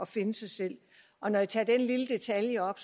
finde sig selv og når jeg tager den lille detalje op